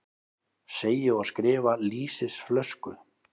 Segi og skrifa lýsisflösku.